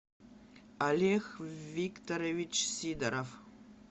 олег викторович сидоров